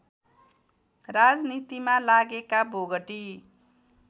राजनीतिमा लागेका बोगटी